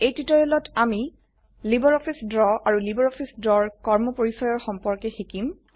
এই টিউটোৰিয়েলটিত আমি লাইব্ৰঅফিছ দ্ৰৱ আৰু লাইব্ৰঅফিছ দ্ৰৱ কৰ্মপৰিচয়ৰ সম্পৰ্কে শিকিম